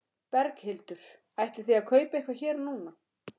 Berghildur: Ætlið þið að kaupa eitthvað hér núna?